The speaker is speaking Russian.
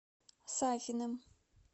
сафиным